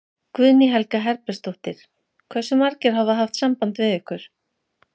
Guðný Helga Herbertsdóttir: Hversu margir hafa haft samband við ykkur?